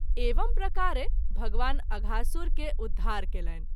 एवं प्रकारे भगवान अघासुर के उद्धार कएलनि।